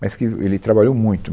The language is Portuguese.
Mas que ele trabalhou muito.